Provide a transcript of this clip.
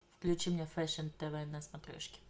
включи мне фэшн тв на смотрешке